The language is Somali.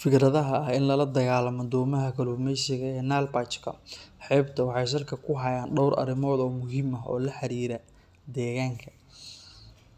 Fikradaha ah in lala dagaalamo domaha kalluumeysiga ee Nile Perch-ka xebta waxay salka ku hayaan dhowr arrimood oo muhiim ah oo la xiriira deegaanka,